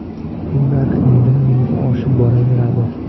Bu narx yildan yilga oshib boraveradi.